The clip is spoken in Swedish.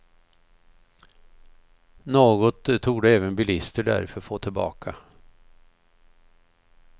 Något torde även bilister därför få tillbaka.